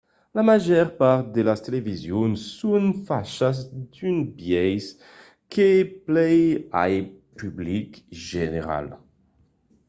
la màger part de las televisions son fachas d'un biais que plai al public general